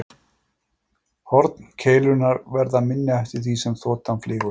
Horn keilunnar verður minna eftir því sem þotan flýgur hraðar.